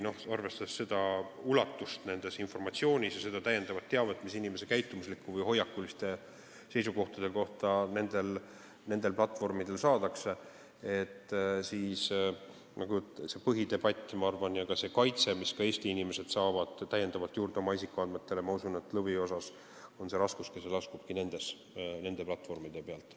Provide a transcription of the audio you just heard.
Arvestades selle informatsiooni ulatust ja seda täiendavat teavet, mida inimese käitumuslike harjumuste või hoiakuliste seisukohtade kohta nendelt platvormidelt saadakse, toimub see põhidebatt siin, ning ma arvan, et kui me räägime isikuandmete kaitsest, mis ka Eesti inimestel suureneb, siis lõviosas on selle raskuskese nende platvormide peal.